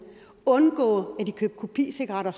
og undgå at de købte kopicigaretter